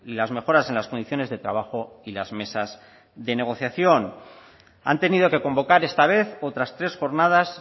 las mejoras en las condiciones de trabajo y las mesas de negociación han tenido que convocar esta vez otras tres jornadas